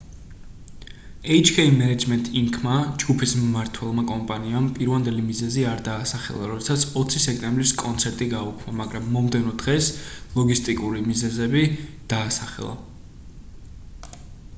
hk management inc.-მა ჯგუფის მმართველმა კომპანიამ პირვანდელი მიზეზი არ დაასახელა როდესაც 20 სექტემბრის კონცერტი გააუქმა მაგრამ მომდევნო დღეს ლოგისტიკური მიზეზები დაასახელა